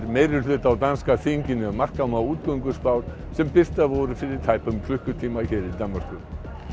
meirihluta á danska þinginu ef marka má sem birtar voru fyrir tæpum klukkutíma hér í Danmörku